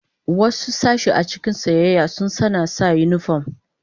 Wasu sashe a cikin siyayya sun sanna sa unifom.